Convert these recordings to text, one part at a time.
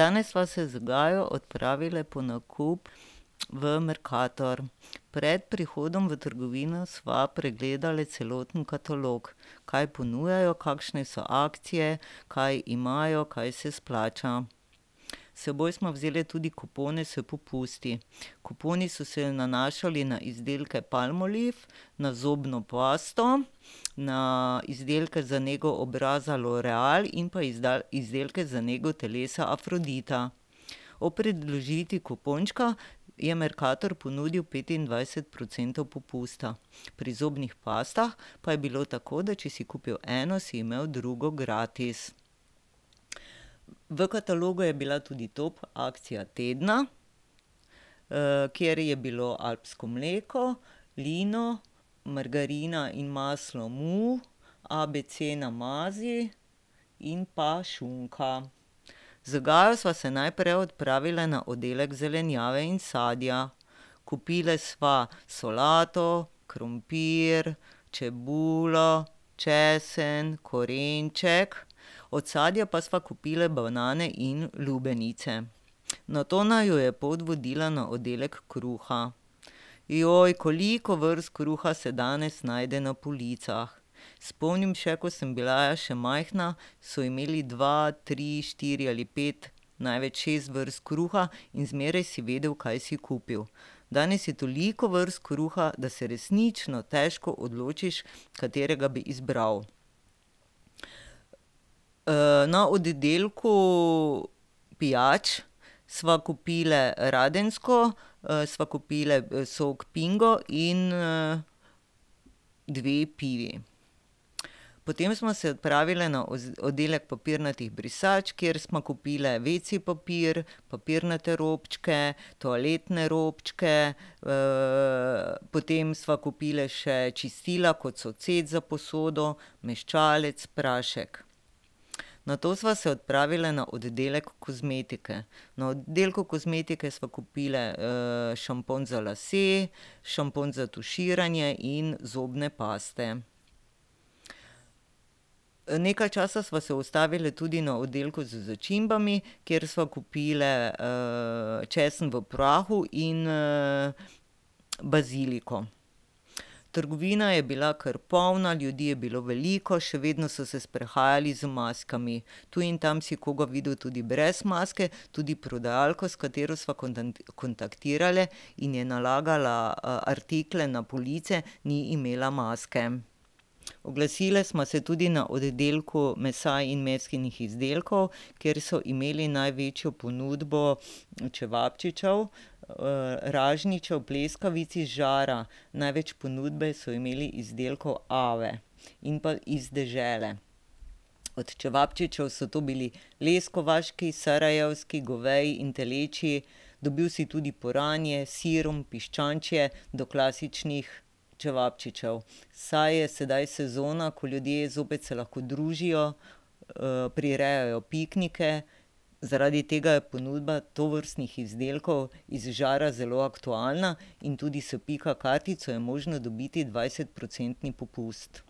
Danes sva se z Gajo odpravili po nakup v Mercator. Pred prihodom v trgovino sva pregledali celoten katalog. Kaj ponujajo, kakšne so akcije, kaj imajo, kaj se splača. S seboj sva vzeli tudi kupone s popusti. Kuponi so se nanašali na izdelke Palmolive, na zobno pasto, na izdelke za nego obraza L'Oréal in pa izdelke za nego telesa Afrodita. Ob predložitvi kupončka je Mercator ponudil petindvajset procentov popusta. Pri zobnih pastah pa je bilo tako, da če si kupil eno, si imel drugo gratis. V katalogu je bila tudi top akcija tedna, kjer je bilo alpsko mleko, Lino, margarina in maslo Mu, Abc namazi in pa šunka. Z Gajo sva se najprej odpravili na oddelek zelenjave in sadja. Kupile sva solato, krompir, čebulo, česen, korenček, od sadja pa sva kupili banane in lubenice. Nato naju je pot vodila na oddelek kruha. koliko vrst kruha se danes najde na policah. Spomnim še, ko sem bila še majhna, so imeli dva, tri, štiri ali pet, največ šest vrst kruha in zmeraj si vedel, kaj si kupil. Danes je toliko vrst kruha, da se resnično težko odločiš, katerega bi izbral. na oddelku pijač sva kupili Radensko, sva kupili sok Pingo in, dve pivi. Potem sva se odpravili na oddelek papirnatih brisač, kjer sva kupili wc papir, papirnate robčke, toaletne robčke, potem sva kupili še čistila, kot so cet za posodo, mehčalec, prašek. Nato sva se odpravili na oddelek kozmetike. Na oddelku kozmetike sva kupili, šampon za lase, šampon za tuširanje in zobne paste. nekaj časa sva se ustavili tudi na oddelku z začimbami, kjer sva kupili, česen v prahu in, baziliko. Trgovina je bila kar polna, ljudi je bilo veliko, še vedno so se sprehajali z maskami. Tu in tam si koga videl tudi brez maske, tudi prodajalka, s katero sva kontaktirali, in je nalagala, artikle na police, ni imela maske. Oglasili sva se tudi na oddelku mesa in mesnih izdelkov, kjer so imeli največjo ponudbo čevapčičev, ražnjičev, pleskavic iz žara. Največ ponudbe so imeli izdelkov Ave in pa Iz dežele. Od čevapčičev so to bili leskovački, sarajevski, goveji in telečji, dobil si tudi puranje, s sirom, piščančje, do klasičnih čevapčičev, saj je sedaj sezona, ko ljudje zopet se lahko družijo, prirejajo piknike. Zaradi tega je ponudba tovrstnih izdelkov iz žara zelo aktualna in tudi s Pika kartico je možno dobiti dvajsetprocentni popust.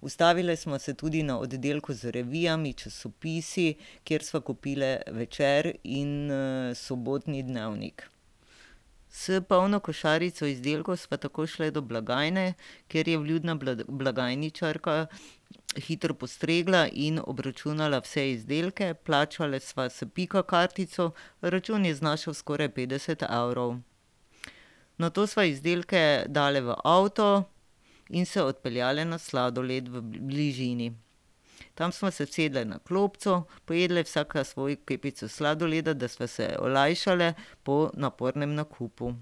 Ustavili sva se tudi na oddelku z revijami, časopisi, kjer sva kupili Večer in, sobotni Dnevnik. S polno košarico izdelkov sva takoj šli do blagajne, kjer je vljudna blagajničarka hitro postregla in obračunala vse izdelke. Plačali sva s Pika kartico, račun je znašal skoraj petdeset evrov. Nato sva izdelke dali v avto in se odpeljali na sladoled v bližini. Tam sva se usedli na klopco, pojedli vsaka svojo kepico sladoleda, da sva se olajšali po napornem nakupu.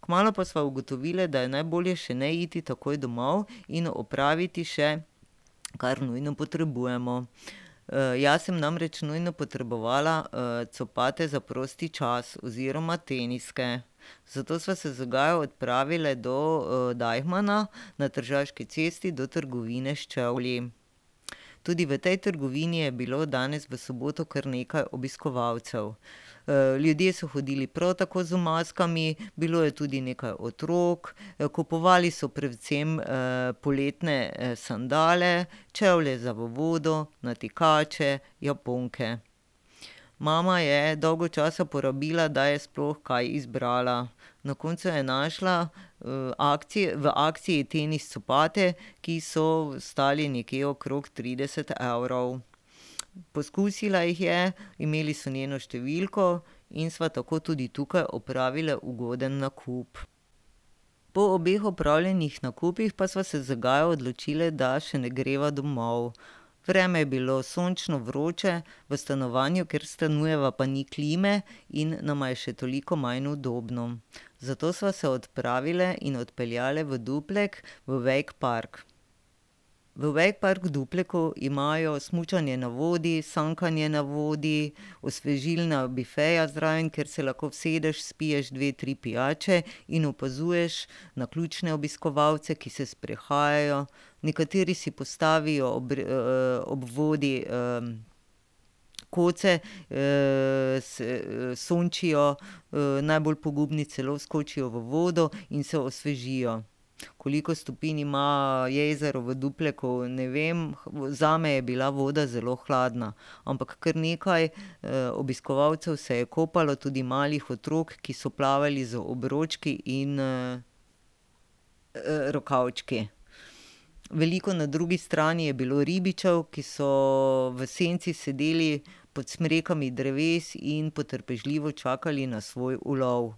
Kmalu pa sva ugotovili, da je najbolje še ne iti takoj domov in opraviti še, kar nujno potrebujemo. jaz sem namreč nujno potrebovala, copate za prosti čas oziroma teniske. Zato sva se z Gajo odpravili do, Deichmanna na Tržaški cesti, do trgovine s čevlji. Tudi v tej trgovini je bilo danes v soboto kar nekaj obiskovalcev. ljudje so hodili prav tako z maskami, bilo je tudi nekaj otrok. Kupovali so predvsem, poletne, sandale, čevlje za v vodo, natikače, japonke. Mama je dolgo časa porabila, da je sploh kaj izbrala. Na koncu je našla, v akciji tenis copate, ki so stali nekje okrog trideset evrov. Poskusila jih je, imeli so njeno številko, in sva tako tudi tukaj opravili ugoden nakup. Po obeh opravljenih nakupih pa sva se z Gajo odločili, da še ne greva domov. Vreme je bilo sončno, vroče, v stanovanju, kjer stanujeva, pa ni klime in nama je še toliko manj udobno. Zato sva se odpravili in odpeljali v Duplek v wake park. V wake park v Dupleku imajo smučanje na vodi, sankanje na vodi, osvežilna bifeja zraven, kjer se lahko usedeš, spiješ dve, tri pijače in opazuješ naključne obiskovalce, ki se sprehajajo, nekateri si postavijo ob ob vodi, koce, se, sončijo, najbolj pogumni celo skočijo v vodo in se osvežijo. Koliko stopinj ima jezero v Dupleku, ne vem, zame je bila voda zelo hladna. Ampak kar nekaj, obiskovalcev se je kopalo, tudi malih otrok, ki so plavali z obročki in, rokavčki. Veliko, na drugi strani, je bilo ribičev, ki so v senci sedeli pod smrekami dreves in potrpežljivo čakali na svoj ulov.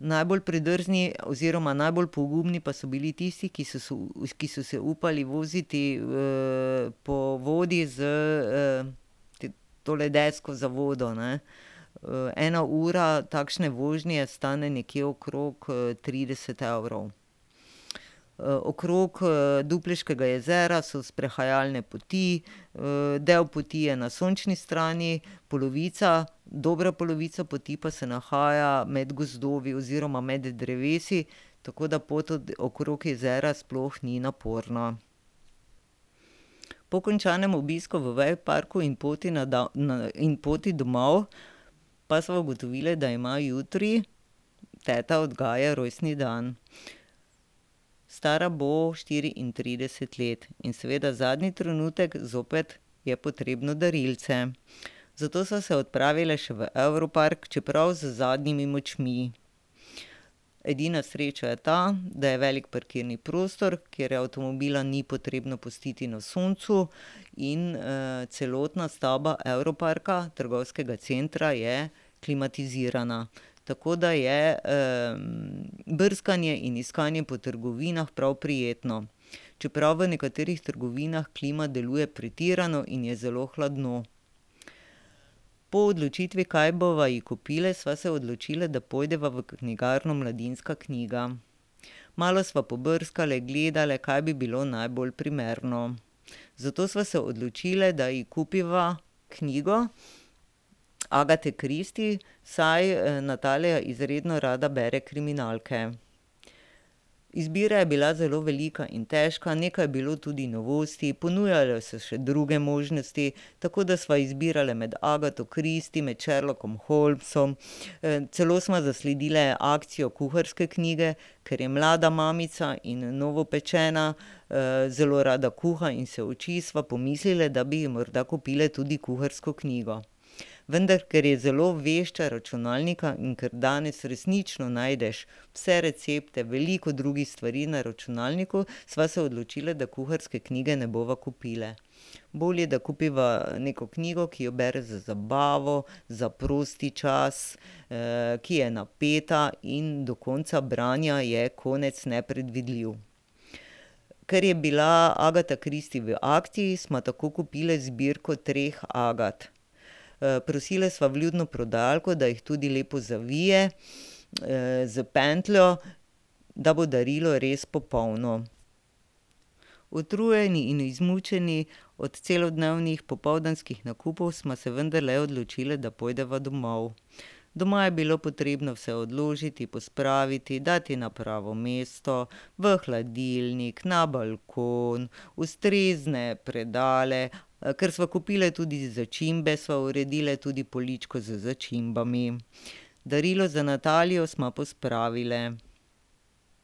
Najbolj predrzni oziroma najbolj pogumni pa so bili tisti, ki so se ki so se upali voziti, po vodi z, tole desko za vodo, ne. ena ura takšne vožnje stane nekje okrog, trideset evrov. Okrog, Dupleškega jezera so sprehajalne poti, del poti je na sončni strani, polovica, dobra polovica poti pa se nahaja med gozdovi oziroma med drevesi, tako da pot okrog jezera sploh ni naporna. Po končanem obisku v wake parku in poti na na in poti domov pa sva ugotovili, da ima jutri teta od Gaje rojstni dan. Stara bo štiriintrideset let. In seveda zadnji trenutek zopet je potrebno darilce. Zato sva se odpravili še v Europark, čeprav z zadnjimi močmi. Edina sreča je ta, da je velik parkirni prostor, kjer avtomobila ni potrebno pustiti na soncu in, celotna stavba Europarka, trgovskega centra, je klimatizirana. Tako da je, brskanje in iskanje po trgovinah prav prijetno, čeprav v nekaterih trgovinah klima deluje pretirano in je zelo hladno. Po odločitvi, kaj bova ji kupili, sva se odločili, da pojdeva v knjigarno Mladinska knjiga. Malo sva pobrskali, gledali, kaj bi bilo najbolj primerno. Zato sva se odločili, da ji kupiva knjigo Agathe Christie, saj, Natalija izredno rada bere kriminalke. Izbira je bila zelo velika in težka, nekaj je bilo tudi novosti, ponujajo se še druge možnosti, tako da sva izbirali med Agatho Christie, med Sherlockom Holmesom, celo sva zasledili akcijo kuharske knjige, ker je mlada mamica in novopečena, zelo rada kuha in se uči, sva pomislili, da bi ji morda kupili tudi kuharsko knjigo. Vendar ker je zelo vešča računalnika in kar danes resnično najdeš vse recepte, veliko drugih stvari na računalniku, sva se odločili, da kuharske knjige ne bova kupili. Bolje, da kupiva, neko knjigo, ki jo bere za zabavo, za prosti čas, ki je napeta in do konca branja je konec nepredvidljiv. Ker je bila Agatha Christie v akciji, sva tako kupili zbirko treh Agath. prosili sva vljudno prodajalko, da jih tudi lepo zavije, s pentljo, da bo darilo res popolno. Utrujeni in izmučeni od celodnevnih popoldanskih nakupov sva se vendarle odločili, da pojdeva domov. Doma je bilo potrebno vse odložiti, pospraviti, dati na pravo mesto, v hladilnik, na balkon, ustrezne predale. kar sva kupili, tudi začimbe, sva uredili tudi poličko z začimbami. Darilo za Natalijo sva pospravili.